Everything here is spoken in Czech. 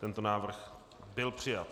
Tento návrh byl přijat.